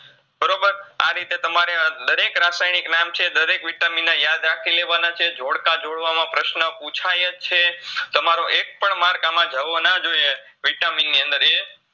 આ રીતે તમારે દરેક રાસાયનીક નામ છે દરેક Vitamin ના યાદ રાખીલેવાના છે, ઝોઝકા જોડવામાં પ્રશ્ન પૂછાયજ છે, તમારો એકપણ માર્ક આમાં જવો ના જોઈએ Vitamin ની અંદર એ